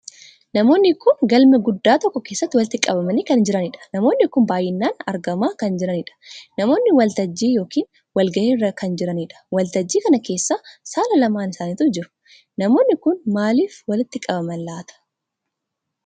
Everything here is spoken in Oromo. Namoonni kun galma guddaa tokkoo keessatti walitti qabamanii kan jiraniidha. namoonni kun baay'inaan argamaa kan jiraniidha. namoonnii waltajjii yookiin wal gahii irra kan jiraniidha. waltajjiin kana keessa saala lamaan isaaniitu jira. namoonnii kun maaliif walitti qabamaan laata ?